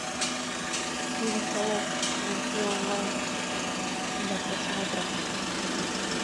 фильм холоп найти онлайн для просмотра